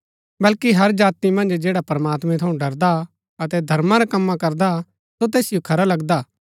बल्कि हर जाति मन्ज जैडा प्रमात्मैं थऊँ डरदा अतै धर्मा रै कम्मा करदा सो तैसिओ खरा लगदा